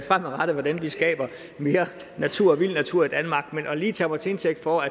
fremadrettet hvordan vi skaber mere natur og vild natur i danmark men lige at tage mig til indtægt for